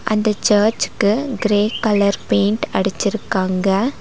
அந்த சர்ச்சுக்கு grey colour paint அடிச்சிருக்காங்க.